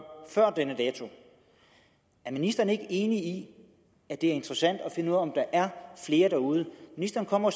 før denne dato er ministeren ikke enig i at det er interessant at finde om der er flere derude ministeren kommer